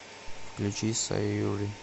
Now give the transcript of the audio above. включи саюри